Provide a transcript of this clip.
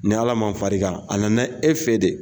Ni Ala ma far'i ka, a na na e fɛ de